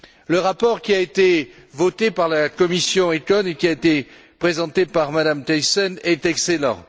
Le rapport qui a été voté par la commission ECON et qui a été présenté par Mme Thyssen est excellent.